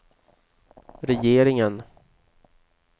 regeringen